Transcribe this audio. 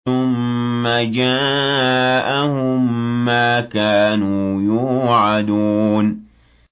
ثُمَّ جَاءَهُم مَّا كَانُوا يُوعَدُونَ